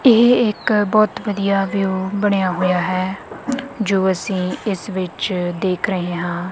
ਇਹ ਇੱਕ ਬਹੁਤ ਵਧੀਆ ਵਿਊ ਬਣਿਆ ਹੋਇਆ ਹੈ ਜੋ ਅਸੀ ਇਸ ਵਿੱਚ ਦੇਖ ਰਹੇ ਹਾਂ।